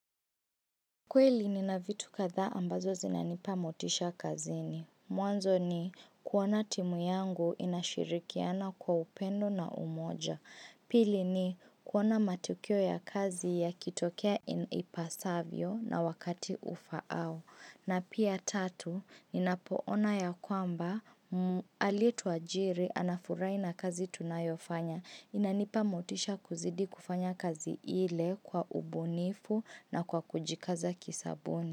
Kweli nina vitu kadhaa ambazo zinanipa motisha kazini. Mwanzo ni kuona timu yangu inashirikiana kwa upendo na umoja. Pili ni kuona matukio ya kazi yakitokea inipasavyo na wakati ufaao. Na pia tatu, ninapoona ya kwamba, alitwa jiri, anafurahi na kazi tunayofanya, inanipa motisha kuzidi kufanya kazi ile kwa ubunifu na kwa kujikaza kisabuni.